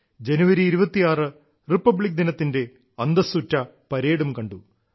ജനുവരി 26 republic ദിനത്തിന്റെ അന്തസ്സുറ്റ പരേഡും കണ്ടു